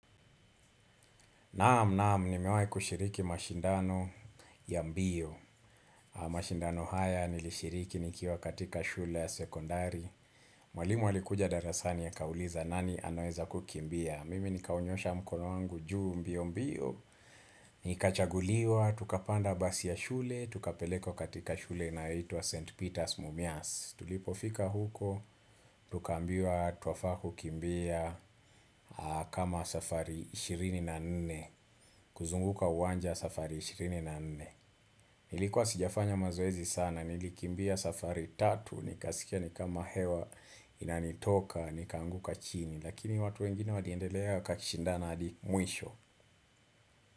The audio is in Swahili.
Naam naam ni mewahi kushiriki mashindano ya mbio mashindano haya nilishiriki nikiwa katika shule ya sekondari Mwalimu alikuja darasani ya akauliza nani anaweza kukimbia Mimi nikaunyosha mkono wangu juu mbio mbio Nikachaguliwa, tukapanda basi ya shule, tukapeleko katika shule na ito wa St. Peter's Mumias Tulipofika huko, tukaambiwa twafaa ku kumbia kama safari 24 kuzunguka uwanja safari 24 Nilikuwa sijafanya mazoezi sana Nilikimbia safari 3 Nikasikia nikama hewa Inanitoka Nikaanguka chini Lakini watu wengine waliendelea wakakishindana adi mwisho.